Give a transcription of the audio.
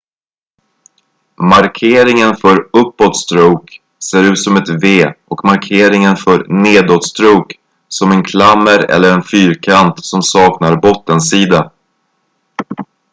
"markeringen för "uppåt-stråke" ser ut som ett v och markeringen för "nedåt-stråke" som en klammer eller en fyrkant som saknar bottensida.